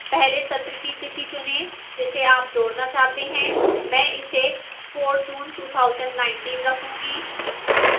पहले सत्र की तिथि चुनें जिसे आप जोड़ना चाहते हैं मैं इसे 4 जून 2019 रखूंगी